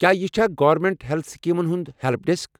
کیا یہِ چھا گورنمینٹ ہیلتھ سکیمن ہُنٛد ہیلپ ڈیسک؟